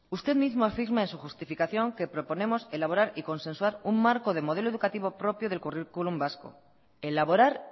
usted mismo afirma de su justificación que proponemos elaborar y consensuar un marco de modelo educativo propio del currículum vasco elaborar